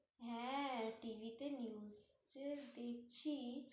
হ্যাঁ, TV তে news যে দেখছি